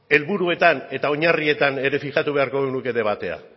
edo helburuetan eta oinarrietan ere fijatu beharko lukete batera